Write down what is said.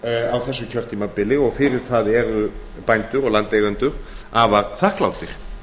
á þessu kjörtímabili og fyrir það eru bændur og landeigendur afar þakklátir